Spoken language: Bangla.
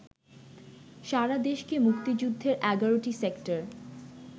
সারাদেশকে মুক্তিযুদ্ধের ১১টি সেক্টর